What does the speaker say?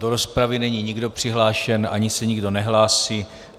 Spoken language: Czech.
Do rozpravy není nikdo přihlášen, ani se nikdo nehlásí.